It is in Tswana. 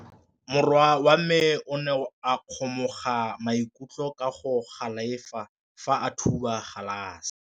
Morwa wa me o ne a kgomoga maikutlo ka go galefa fa a thuba galase.